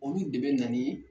Olu de be na ni